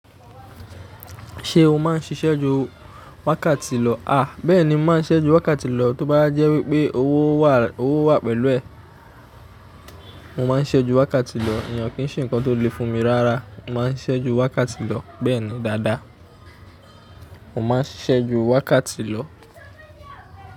Ṣé o máà ń ṣiṣẹ́ ju wákàtí lọ? A! Bẹ́ẹ̀ni, mo máa ń ṣẹ́ju wákàtí lọ, tó bá jẹ́ wípé owó wà pẹ̀lú ẹ̀, mo máa ń ṣẹ́ju wákàtí lọ. Ènìyàn kì í ṣe nǹkan tó le fún mi rárá, mo máa ń ṣẹ́ju wákàtí lọ. Bẹ́ẹ̀ni dáadáa, mo máa ń ṣisẹ́ju wákàtí lọ.